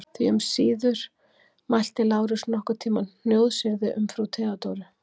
Því um síður mælti Lárus nokkurn tíma hnjóðsyrði um frú Theodóru.